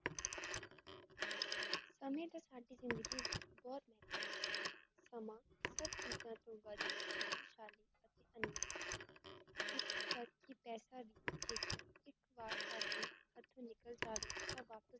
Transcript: ਸਮੈਂ ਦਾ ਸਾਡੀ ਜ਼ਿੰਦਗੀ ਵਿੱਚ ਬਹੋਤ ਮਹੱਤਵ ਹਾ, ਸਮਾਂ ਹਰ ਚੀਜਾਂ ਤੋਂ ਵੱਧ ਸ਼ਕਤੀਸ਼ਾਲੀ ਅਤੇ ਅਨਮੋਲ ਹੈ, ਇੱਥੋਂ ਤਕ ਤਕ ਕੀ ਪੈਸਾ ਦੇਕਰ ਇੱਕ ਵਾਰ ਸਾਡੇ ਹੱਥੋਂ ਨਿਕਲ ਜਾਵੇ ਤਾਂ ਵਾਪਸ